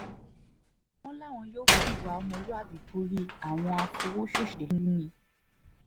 wọ́n láwọn yóò fi ìwà ọmọlúàbí borí àwọn àfọwososeluni